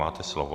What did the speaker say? Máte slovo.